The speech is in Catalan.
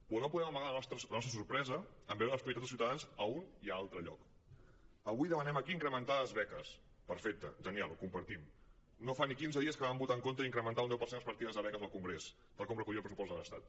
però no podem amagar la nostra sorpresa en veure les prioritats de ciutadans a un i altre lloc avui demanem aquí incrementar les beques perfecte genial ho compartim no fa ni quinze dies que van votar en contra d’incrementar un deu per cent les partides de beques al congrés tal com recollia el pressupost de l’estat